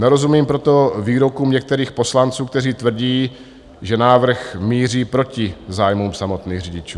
Nerozumím proto výrokům některých poslanců, kteří tvrdí, že návrh míří proti zájmům samotných řidičů.